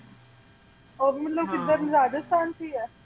ਉਹ ਵੀ ਮਤਲਬ ਕਿੱਧਰ ਰਾਜਸਥਾਨ ਵਿੱਚ ਹੀ ਹੈ?